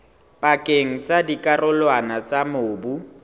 pakeng tsa dikarolwana tsa mobu